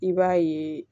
I b'a ye